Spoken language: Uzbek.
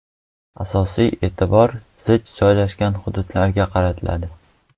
Asosiy e’tibor zich joylashgan hududlarga qaratiladi.